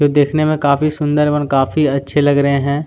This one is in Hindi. ये देखने में काफी सुंदर और काफी अच्छे लग रहे है।